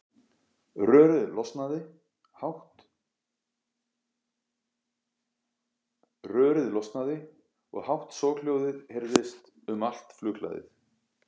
Rörið losnaði og hátt soghljóðið heyrðist um allt flughlaðið.